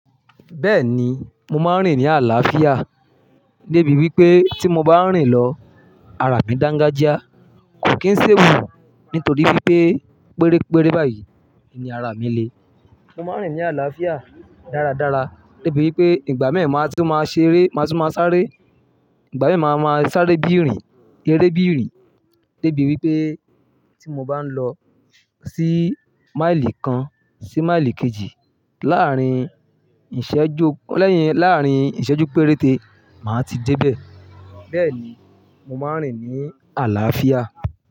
Bẹ́ẹ̀ni, mo máa ń rìn ní àlàáfíà débi wípé tí mo bá ń rìn lọ, ara mi dàǹga jíá, kò kí ń ṣèwù nítorí wípé pérépéré báyìí ni ara mi le. Mo máa ń rìn ní àlàáfíà dáradára débi wípé ìgbà mẹ́ẹ̀ máa tó máa ṣeré, máa tó máa sáré. Ìgbà mẹ́ẹ̀ máa ma sáré bí ìrìn, rẹ́ré bí ìrìn débi wípé tí mo bá ń lọ sí máìlì kan sí máìlì kejì láàárín ìṣẹ́jú, lẹ́yìn, láàárín ìṣẹ́jú péréte, màá ti dé bẹ̀. Bẹ́ẹ̀ni, mo máa ń rìn ní àlàáfíà.